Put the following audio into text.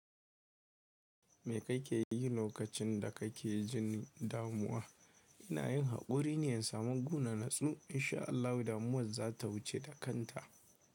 Me kake yi lokacin da kake jin damuwa? Ina yin haƙuri ne in samu gona natsu. Insha Allahu damuwar za ta wuce da kanta.